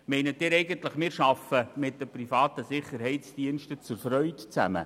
Meinen Sie eigentlich, wir arbeiten aus Freude mit privaten Sicherheitsdiensten zusammen?